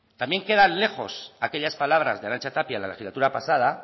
también queda lejos aquellas palabras de arantxa tapia la legislatura pasada